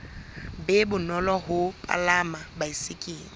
be bonolo ho palama baesekele